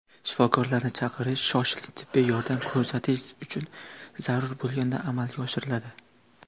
Shifokorni chaqirish shoshilinch tibbiy yordam ko‘rsatish uchun zarur bo‘lganda amalga oshiriladi.